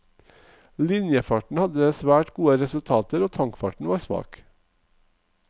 Linjefarten hadde svært gode resultater og tankfarten var svak.